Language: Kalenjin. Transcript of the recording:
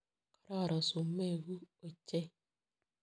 Karoron sumek kuk ochei.